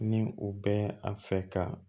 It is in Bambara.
Ni u bɛ a fɛ ka